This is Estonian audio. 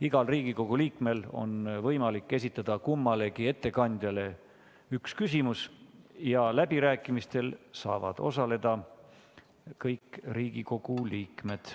Igal Riigikogu liikmel on võimalik esitada kummalegi ettekandjale üks küsimus ja läbirääkimistel saavad osaleda kõik Riigikogu liikmed.